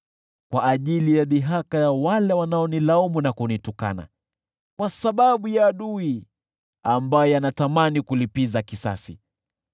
kwa ajili ya dhihaka ya wale wanaonilaumu na kunitukana, kwa sababu ya adui, ambaye anatamani kulipiza kisasi.